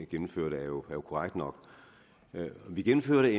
gennemførte er jo korrekt nok vi gennemførte